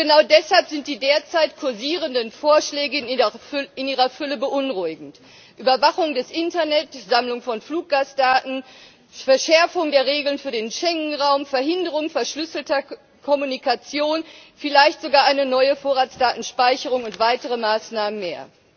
Und genau deshalb sind die derzeit kursierenden Vorschläge in ihrer Fülle beunruhigend Überwachung des Internets, Sammlung von Fluggastdaten, Verschärfung der Regelungen für den Schengenraum, Verhinderung verschlüsselter Kommunikation, vielleicht sogar eine neue Vorratsdatenspeicherung und weitere Maßnahmen mehr.